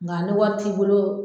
Nga ni wari t'i bolo